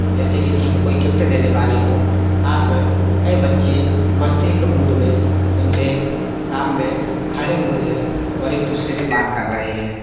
जैसे किसी को कोई गिफ्ट देने वाले हो साथ मे कई बच्चे मस्ती के मूड मे उनसे सामने खड़े हुए है और एक दूसरे से बात कर रहे हैं।